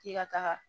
K'i ka taga